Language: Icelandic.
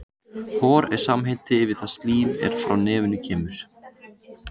Hor er samheiti yfir það slím er frá nefinu kemur.